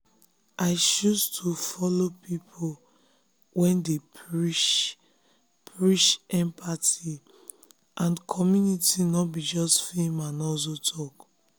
i choose to follow people wey dey preach dey preach empathy and community no be just fame and hustle talk.